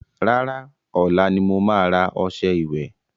Rárá, ọ̀la ni mo ma rà ọṣẹ ìwẹ̀